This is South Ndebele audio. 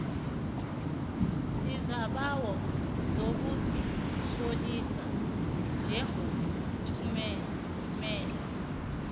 isibawo sokuzitlolisa njengothumela